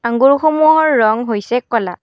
আঙুৰ সমূহৰ ৰং হৈছে কলা।